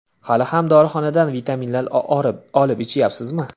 Hali ham dorixonadan vitaminlar olib ichayapsizmi?